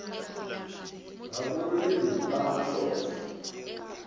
ga bo rone nta mašošo